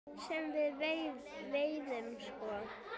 Sem við veiðum sko?